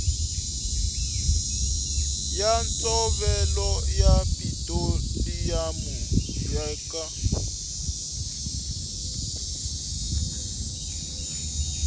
ya ntshovelo ya petiroliyamu eka